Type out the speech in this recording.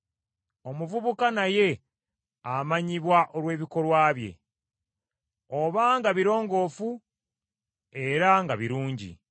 Omuvubuka naye amanyibwa olw’ebikolwa bye, obanga birongoofu era nga birungi.